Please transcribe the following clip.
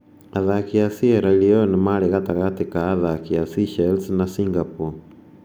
Athaki a Sierra Leone maarĩ gatagatĩ ka athaki a Seychelles na Singapore.